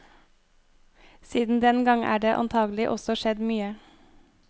Siden den gang er det antagelig også skjedd mye.